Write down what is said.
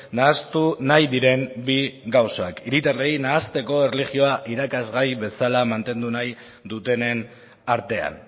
nahastu nahi diren bi gauzak hiritarrei nahasteko erlijioa irakasgai bezala mantendu nahi dutenen artean